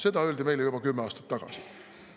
Seda öeldi meile juba kümme aastat tagasi.